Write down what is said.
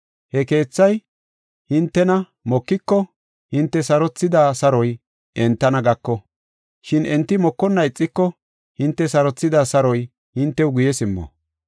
He keethay hintena mokiko hinte sarothida saroy entana gako, shin enti mokonna ixiko hinte sarothida saroy hintew guye simmo.